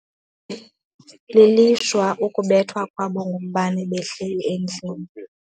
Lilishwa ukubethwa kwabo ngumbane behleli endlini.